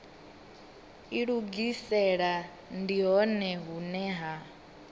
ilugisela ndi hone hune ha